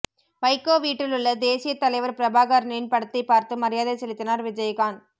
வைகோ வீட்டிலுள்ள தேசியத் தலைவர் பிரபாகரனின் படத்தைப் பார்த்து மரியாதை செலுத்தினார் விஜயகாந்